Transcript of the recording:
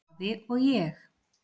Afi og ég.